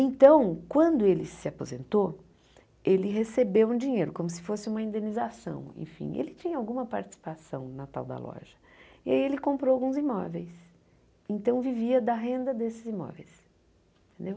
Então, quando ele se aposentou, ele recebeu um dinheiro, como se fosse uma indenização, enfim, ele tinha alguma participação na tal da loja, e aí ele comprou alguns imóveis, então vivia da renda desses imóveis, entendeu?